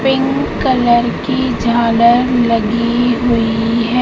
Pink colour की झालर लगी हुई है।